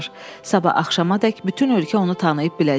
Sabah axşamadək bütün ölkə onu tanıyıb biləcək.